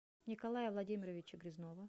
николая владимировича грязнова